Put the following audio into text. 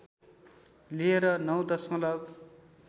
लिएर ९ दशमलव